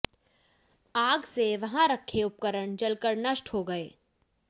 आग से वहां रखे उपकरण जलकर नष्ट हो गए